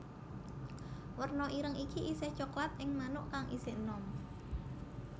Warna ireng iki isih coklat ing manuk kang isih enom